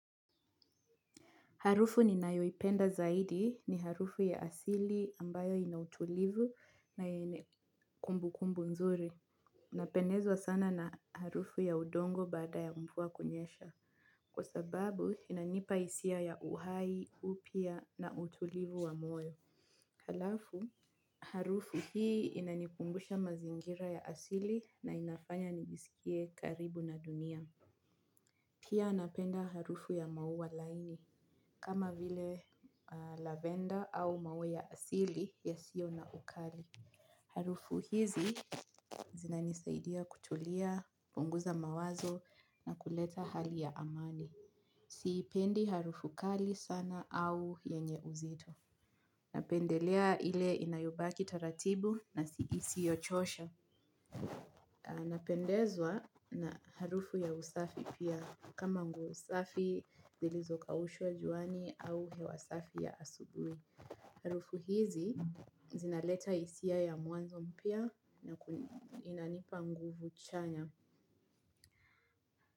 Harufu ni nayoipenda zaidi ni harufu ya asili ambayo inautulivu na yenye kumbu kumbu nzuri. Napendezwa sana na harufu ya udongo baada ya mvua kunyesha. Kwa sababu, inanipa hisia ya uhai, upia na utulivu wa moyo. Halafu, harufu hii inanikumbusha mazingira ya asili na inafanya nigisikie karibu na dunia. Pia napenda harufu ya maua laini, kama vile lavender au maua ya asili ya sio na ukali. Harufu hizi zina nisaidia kutulia, punguza mawazo na kuleta hali ya amani. Sipendi harufu kali sana au yenye uzito. Napendelea ile inayobaki taratibu na siisi yochosha. Napendezwa na harufu ya usafi pia kama nguosafi zilizokaushwa juani au hewasafi ya asubui. Harufu hizi zinaleta hisia ya mwanzo mpya. Na inanipa nguvu chanya.